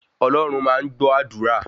Ọlọ́run máa ń gbó àdúrà